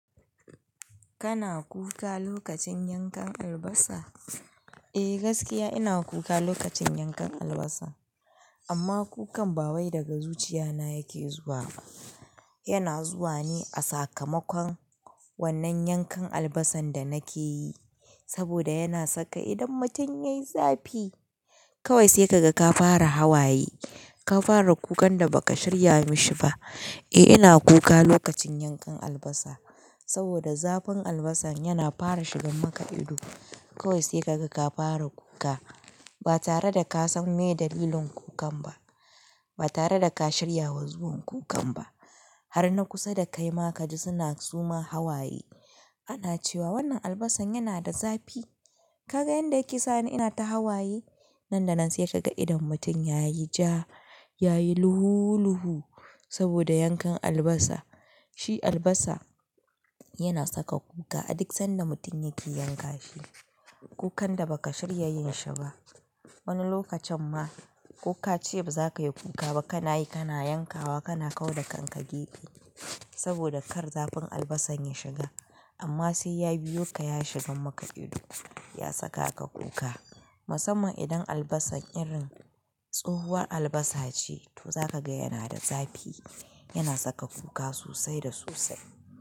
Kana kuka lokacin yankan albasa? Eh gaskiya ina kuka lokacin yankan albasa. Amma kukan bawai daga zuchiyana yake zuwa. Yana zuwa ne a sakamakon wannan yankan albasan da nake yi, saboda yana saka idon mutum ya yi zafi. Kawai sai ka ga ka fara hawaye, ka fara kukan da baka shirya mi shi ba. Eh ina kuka lokacin yankan albasa saboda zafin albasan yana fara shigan maka ido. Kawai sai ka ga ka fara kuka ba tare da ka san me dalilin kukan ba. Ba tare da ka shirya zuwan kukan ba. Har na kusa da kaima ka ji suna su ma hawaye. Ana cewa wannan albasan yana da zafi. Ka ga yanda yake sa ni ina ta hawaye? Nan da nan sai ka ga idon mutum yayi ja, yayi luhu luhu saboda yankan albasa. Shi albasa yana saka kuka aduk sanda mutum yake yanka shi, kukan da baka shirya yin shi ba. Wani lokacin ma ko ka ce baza kayi kuka ba kana yi, kana yankawa, kana kau da kanka gege saboda kar zafin albasan ya shiga. Amma sai ya biyo ka ya shigan maka ido, ya saka ka kuka. Musamman idan albasa irin tsohuwar albasa ce, to za ka ga yana da zafi, yana saka kuka sosai da sosai.